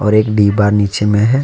एक डिब्बा नीचे में है।